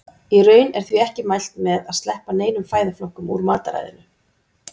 Í raun er því ekki mælt með að sleppa neinum fæðuflokkum úr mataræðinu.